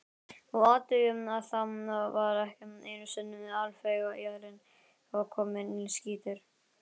Og athugið að þá var ekki einusinni afleggjarinn kominn, skýtur